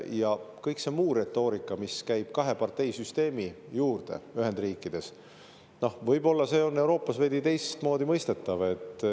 Ja kõik see muu retoorika, mis käib kaheparteisüsteemi juurde Ühendriikides – noh, võib-olla see on Euroopas veidi teistmoodi mõistetav.